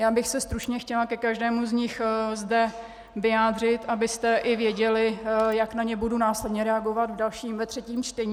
Já bych se stručně chtěla ke každému z nich zde vyjádřit, abyste i věděli, jak na ně budu následně reagovat ve třetím čtení.